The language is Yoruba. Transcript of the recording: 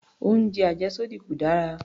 Oúnjẹ àjẹ́sódì kò dára